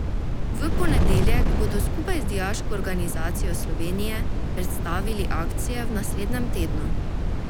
V ponedeljek bodo skupaj z Dijaško organizacijo Slovenije predstavili akcije v naslednjem tednu.